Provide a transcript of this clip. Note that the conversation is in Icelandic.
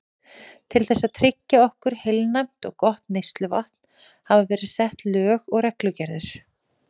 Til þess að tryggja okkur heilnæmt og gott neysluvatn hafa verið sett lög og reglugerðir.